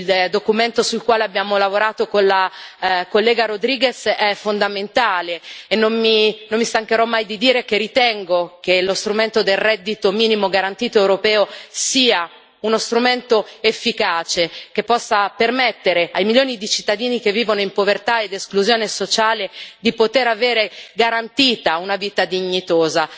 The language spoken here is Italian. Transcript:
Il documento sul quale abbiamo lavorato con la collega Rodríguez è fondamentale, e non mi stancherò mai di dire che ritengo che lo strumento del reddito minimo garantito europeo sia uno strumento efficace, che possa permettere ai milioni di cittadini che vivono in povertà ed esclusione sociale di poter avere garantita una vita dignitosa.